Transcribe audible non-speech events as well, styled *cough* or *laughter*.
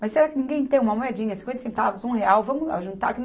Mas será que ninguém tem uma moedinha, cinquenta centavos, um real, vamos lá juntar *unintelligible*